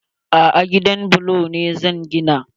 A'a, gidan bulo ne zan gina.